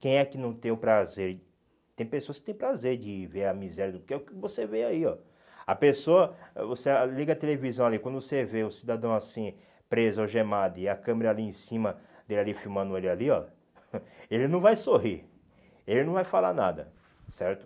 Quem é que não tem o prazer, tem pessoas que tem prazer de ver a miséria, porque é o que você vê aí, ó. A pessoa, você ah liga a televisão ali, quando você vê o cidadão assim, preso, algemado, e a câmera ali em cima, dele ali filmando ele ali, ó, ele não vai sorrir, ele não vai falar nada, certo?